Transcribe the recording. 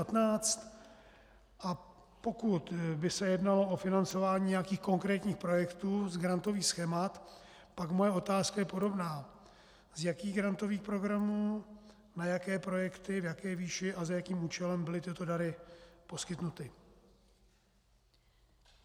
A pokud by se jednalo o financování nějakých konkrétních projektů z grantových schémat, pak moje otázka je podobná: Z jakých grantových programů, na jaké projekty, v jaké výši a za jakým účelem byly tyto dary poskytnuty?